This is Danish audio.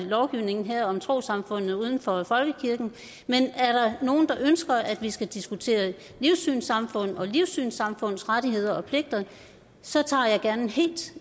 lovgivningen her om trossamfundene uden for folkekirken men er der nogen der ønsker at vi skal diskutere livssynssamfund og livssynssamfunds rettigheder og pligter så tager jeg gerne en helt